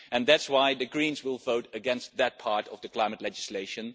That is why the Greens will vote against that part of the climate legislation.